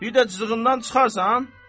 Bir də cızığından çıxarsan?